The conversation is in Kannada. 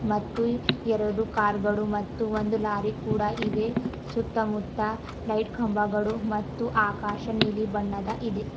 ಮತ್ತು ಎರಡು ಕಾರ್ ಗಳು ಮತ್ತು ಒಂದು ಲಾರಿ ಕೂಡ ಇದೆ ಸುತ್ತಮುತ್ತ ಲೈಟ್ ಕಂಬಗಳು ಮತ್ತು ಆಕಾಶ ನೀಲಿ ಬಣ್ಣದ ಇದೆ.